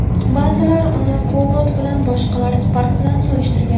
Ba’zilar uni Cobalt bilan, boshqalar Spark bilan solishtirgan.